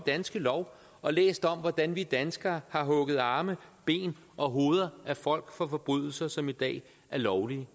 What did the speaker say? danske lov og læse om hvordan vi danskere har hugget arme ben og hoveder af folk for forbrydelser som i dag er lovlige